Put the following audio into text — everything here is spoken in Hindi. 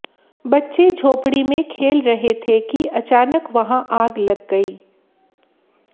बच्चे झोपड़ी में खेल रहे थे कि अचानक वहां आग लग गई